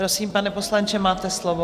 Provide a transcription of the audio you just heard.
Prosím, pane poslanče, máte slovo.